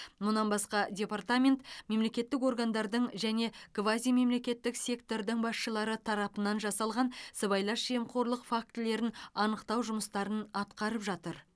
мұнан басқа департамент мемлекеттік органдардың және квазимемлекеттік сектордың басшылары тарапынан жасалған сыбайлас жемқорлық фактілерін анықтау жұмыстарын атқарып жатыр